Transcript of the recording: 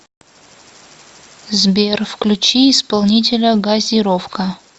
сбер включи исполнителя газировка